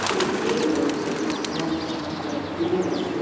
ए ये मजदूर अपना काम कर ए मजदुर --